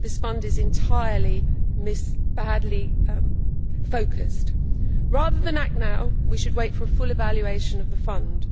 This Fund is entirely badly focused. Rather than act now we should wait for a full evaluation of the Fund.